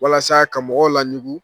Walasa ka mɔgɔw laɲugu.